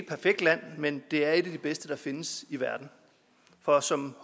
perfekt land men det er et af de bedste der findes i verden for som